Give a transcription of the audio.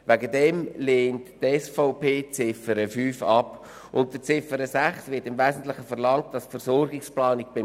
Es ist wichtig, dass es eine Liste gibt für ambulante Operationen, aber ich habe kaum gehört, abgesehen vom Votum von Carlo Schlatter, dass es schlussendlich um Patienten geht.